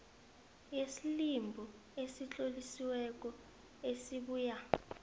yeslibhu esitlolisiweko esibuya